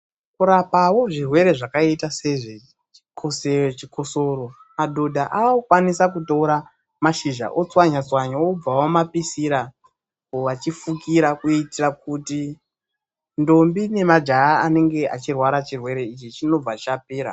Kurapawo zvirwere zvakaita sezvechikosoro, madhodha aakukwanisa kutora mashizha otswanyatswanya. Wobva wamapisira wachifukira, kuitira kuti ndombi nemajaha anenge achirwara chirwere ichi chinobva chapera.